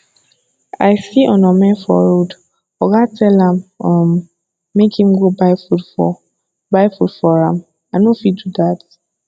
i see onome for road oga tell am um make im go buy food for buy food for am i no fit do dat